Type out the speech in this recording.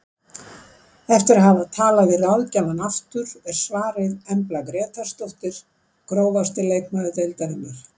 Eftir að hafa talað við ráðgjafann aftur er svarið Embla Grétarsdóttir Grófasti leikmaður deildarinnar?